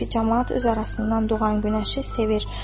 Çünki camaat öz arasından doğan günəşi sevir.